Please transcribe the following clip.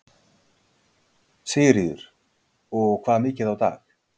Sigríður: Og hvað mikið á dag?